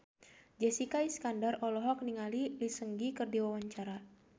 Jessica Iskandar olohok ningali Lee Seung Gi keur diwawancara